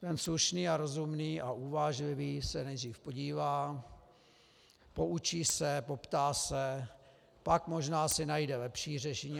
Ten slušný a rozumný a uvážlivý se nejdřív podívá, poučí se, poptá se, pak možná si najde lepší řešení.